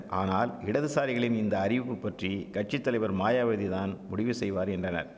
ஆனால் இடதுசாரிகளின் இந்த அறிவிப்புப்பற்றி கட்சி தலைவர் மாயாவதிதான் முடிவு செய்வார் என்றனர்